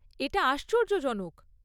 এটা আশ্চর্যজনক!